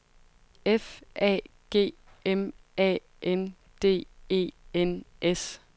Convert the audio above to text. F A G M A N D E N S